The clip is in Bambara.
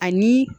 Ani